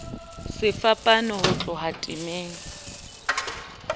se fapana ho tloha temeng